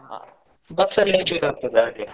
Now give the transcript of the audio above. ಹಾ bus ಅಲ್ಲಿ ಆಗ್ತದೆ ಹಾಗೆ.